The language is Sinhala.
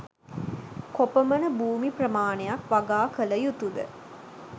කොපමණ භූමි ප්‍රමාණයක් වගා කළ යුතුද?